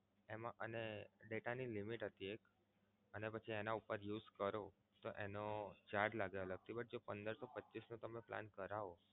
અને data ની limit હતી એક અને પછી એના ઉપર use કરો નો charge લાગે અલગથી જો પંદર સો પચ્ચીસનો તમે plan કરાવો